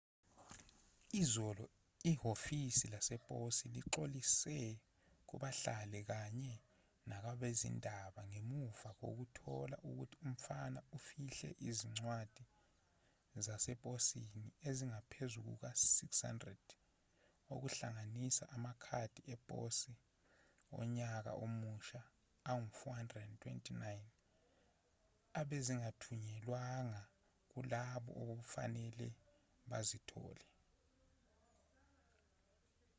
izolo ihhovisi leposi lixolisile kubahlali kanye nakwabezindaba ngemuva kokuthola ukuthi umfana ufihle izincwadi zaseposini ezingaphezu kuka-600 okuhlanganisa amakhadi eposi onyaka omusha angu-429 ebezingathunyelwanga kulabo obekufanele bazithole